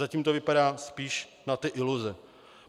Zatím to vypadá spíš na ty iluze.